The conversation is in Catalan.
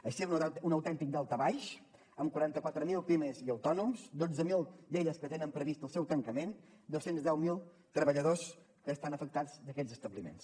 així hem notat un autèntic daltabaix amb quaranta quatre mil pimes i autònoms dotze mil d’elles que tenen previst el seu tancament dos cents i deu mil treballadors que estan afectats d’aquests establiments